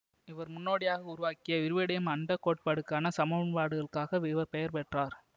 இவர் முன்னோடியாக உருவாக்கிய விரிவடையும் அண்ட கோட்பாட்டுக்கான சமன்பாடுகளுக்காகப் இவர் பெயர் பெற்றார்